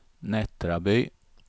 Nättraby